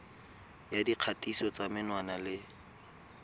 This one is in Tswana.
ya dikgatiso tsa menwana le